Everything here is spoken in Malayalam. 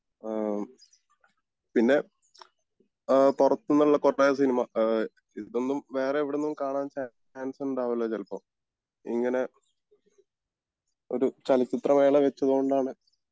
അഹമ് പിന്നെ അഹ് പൊറത്തൂനുള്ള കൊറേ സിനിമ അഹ് ഇതൊന്നും വേറെ എവിടുന്നും കാണാൻ ചാൻസ് ഉണ്ടാവില്ല ചെലപ്പോ ഇങ്ങനെ ഒരു ചലച്ചിത്ര മേള വെച്ചത് കൊണ്ടാണ്